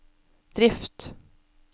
drift